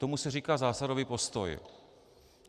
Tomu se říká zásadový postoj.